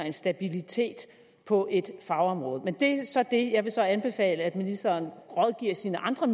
og stabilitet på et fagområde men det er så det jeg vil så anbefale at ministeren rådgiver sine andre